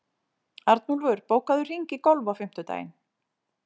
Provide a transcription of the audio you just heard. Arnúlfur, bókaðu hring í golf á fimmtudaginn.